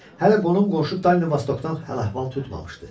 Hələ qonum-qonşu Danli Vastokdan əhval-əhval tutmamışdı.